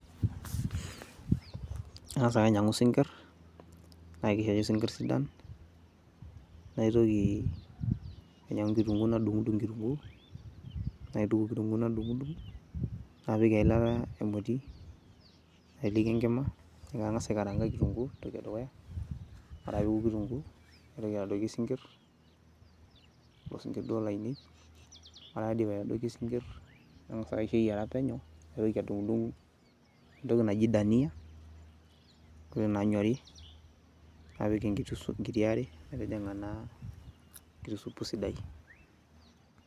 Angasa ake ainyang'u sinkir naake etii sinkir sidan, naitoki ainyang'u kitunguu nadung'dung' kitunguu, napik eilata emoti, naiteleki enkima nang'asa aikaranga kitunguu entoki e dukuya, ore ake pee eoku kitunguu naitoki aitodoiki sinkir kulo sinkir duo lainei, ore paidip aitodoiki sinkir nangas aisho eyiara penyo. Naitoki adung'dung' entoki naji dania ntokitin naanyori, napik enkiti are metijing'a naa enkiti supu sidai.